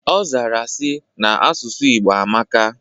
Ọzara sị, na asụsụ Igbo amaka